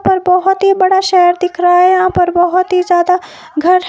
और बहोत ही बड़ा शहर दिख रहा है यहां पर बहोत ही ज्यादा घर--